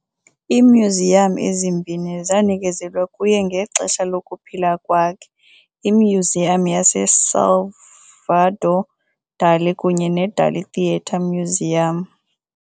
Iimyuziyam ezimbini zanikezelwa kuye ngexesha lokuphila kwakhe, iMyuziyam yaseSalvador Dali kunye neDalí theatre-museum.